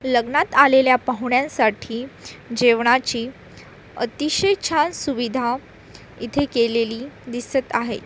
लग्नात आलेल्या पाहुण्यांसाठी जेवणाची अतिशय छान सुविधा इथे केलेली दिसत आहे.